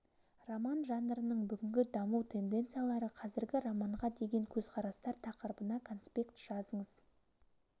роман жанрының бүгінгі даму тенденциялары қазіргі романға деген көзқарастар тақырыбына конспект жазыңыз